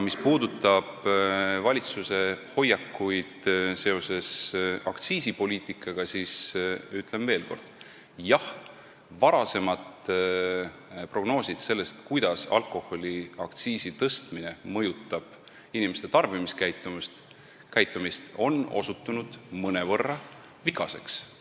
Mis puudutab valitsuse hoiakuid aktsiisipoliitika suhtes, siis ütlen veel kord: jah, varasemad prognoosid selle kohta, kuidas mõjutab alkoholiaktsiisi tõstmine inimeste tarbimiskäitumist, on osutunud mõnevõrra vigaseks.